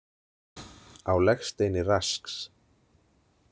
Á legsteini Rasks.